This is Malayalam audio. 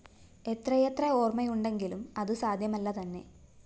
എത്രയെത്ര ഓര്‍മ്മയുണ്ടെങ്കിലും അതു സാധ്യമല്ലതന്നെ